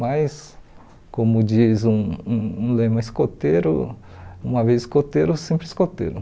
Mas, como diz um um um lema escoteiro, uma vez escoteiro, sempre escoteiro.